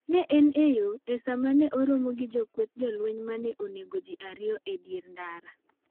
Ne en e yo, e sama ne oromo gi kweth jolweny ma ne onego ji ariyo e dier ndara.